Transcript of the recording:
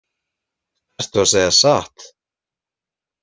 Ertu að segja satt?